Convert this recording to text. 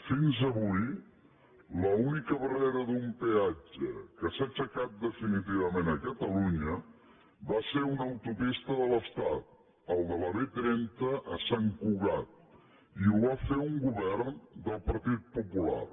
fins avui l’única barrera d’un peatge que s’ha aixecat definitivament a catalunya va ser a una autopista de l’estat el de la b trenta a sant cugat i ho va fer un govern del partit popular